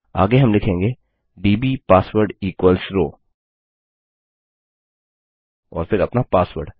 आगे हम लिखेंगे दब् पासवर्ड इक्वल्स रोव और फिर अपना पासवर्ड